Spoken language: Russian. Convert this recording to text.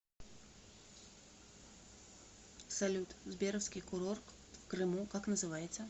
салют сберовский курорт в крыму как называется